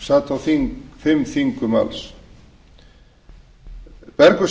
sat á fimm þingum alls bergur